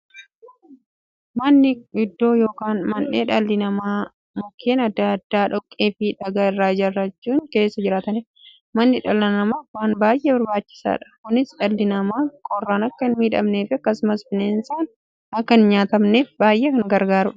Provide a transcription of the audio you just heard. Manni iddoo yookiin mandhee dhalli namaa Mukkeen adda addaa, dhoqqeefi dhagaa irraa ijaarachuun keessa jiraataniidha. Manni dhala namaaf waan baay'ee barbaachisaadha. Kunis, dhalli namaa qorraan akka hinmiidhamneefi akkasumas dhalli namaa bineensaan akka hin nyaatamneef baay'ee isaan gargaara.